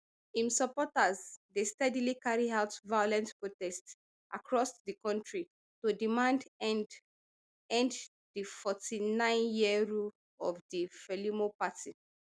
im supporters dey steadily carry out violent protests across di kontri to demand end end to di forty-nine year rule of di frelimo party